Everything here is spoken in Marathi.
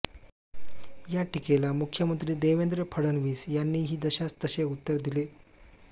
या टीकेला मुख्यमंत्री देवेंद्र फडणवीस यांनीही जशास तसे उत्तर दिले